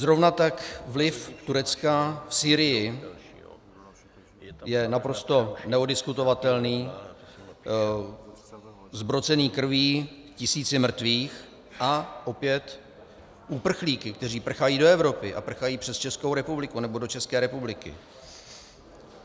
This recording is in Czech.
Zrovna tak vliv Turecka v Sýrii je naprosto neoddiskutovatelný, zbrocený krví tisíců mrtvých, a opět uprchlíky, kteří prchají do Evropy a prchají přes Českou republiku nebo do České republiky.